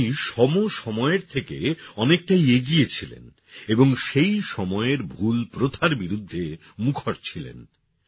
তিনি সমসময়ের থেকে অনেকটাই এগিয়ে ছিলেন এবং সেই সময়ের ভুল প্রথার বিরুদ্ধে মুখর ছিলেন